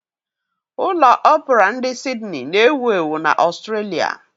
Ụlọ Opura ndi Sidni na-ewu ewu na Australia.